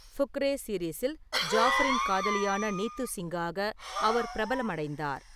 ஃபுக்ரே சீரிஸில் ஜாஃபரின் காதலியான நீத்து சிங்காக அவர் பிரபலமடைந்தார்.